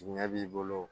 Jigiɲɛ b'i bolo